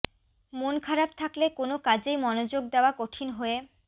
মন খারাপ থাকলে কোনো কাজেই মনোযোগ দেওয়া কঠিন হয়ে